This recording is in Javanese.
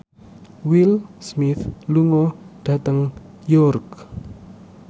Will Smith lunga dhateng York